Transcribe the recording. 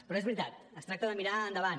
però és veritat es tracta de mirar endavant